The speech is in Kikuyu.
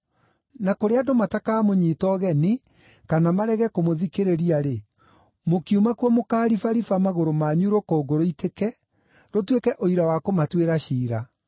Na kũrĩa andũ matakamũnyiita ũgeni kana marege kũmũthikĩrĩria-rĩ, mũkiuma kuo mũkaaribariba magũrũ manyu rũkũngũ rũitĩke, rũtuĩke ũira wa kũmatuĩra ciira.”